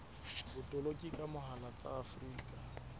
botoloki ka mohala tsa afrika